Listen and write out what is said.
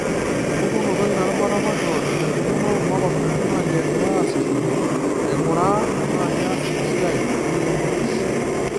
Empukunoto ina rubata makeon, enaikununo, makosani naalioegirai aasishore, aing'uraa tenaa keas esiai, oyeunot .